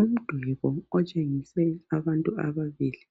Umduli lo otshengise abantu ababili